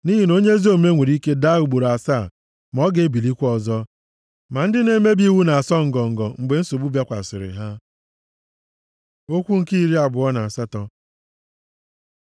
Nʼihi na onye ezi omume nwere ike daa ugboro asaa ma o ga-ebilikwa ọzọ. Ma ndị na-emebi iwu na-asọ ngọngọ mgbe nsogbu bịakwasịrị ha. Okwu nke iri abụọ na asatọ